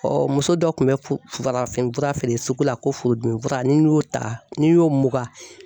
muso dɔ kun bɛ farafin fura feere sugu la ko furudimi fura ni n y'o ta n'i y'o mugan